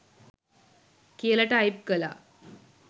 කියල ටයිප් කලා